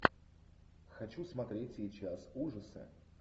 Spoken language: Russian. хочу смотреть сейчас ужасы